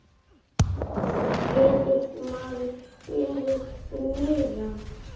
Getur maður beðið um meira?